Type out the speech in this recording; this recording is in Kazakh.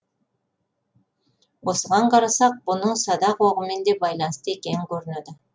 осыған қарасақ бұның садақ оғымен де байланысты екені көрінеді